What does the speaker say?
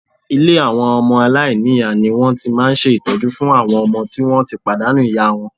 Ilé àwọn ọmọ aláìníyàá ni wọ́n ti máa ń ṣe ìtọ́jú fún àwọn ọmọ tí wọ́n ti pàdánù ìyá wọn